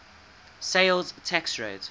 sales tax rate